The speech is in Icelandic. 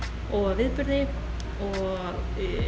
og viðburði og